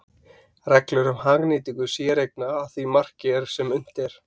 Reglur um hagnýtingu séreigna að því marki sem unnt er.